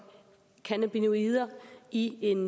cannabinoider i en